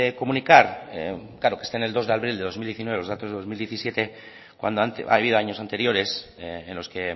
comunicar claro que estén el dos de abril de dos mil diecinueve los datos de dos mil diecinueve cuando ha habido años anteriores en los que